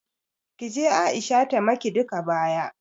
Kije Aisha ta maki duka baya